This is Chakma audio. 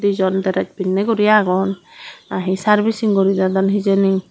dijon dress pinney guri agon naahi servicing guri dedon hijeni.